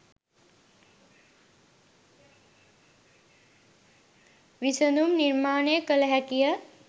විසඳුම් නිර්මාණය කල හැකිය.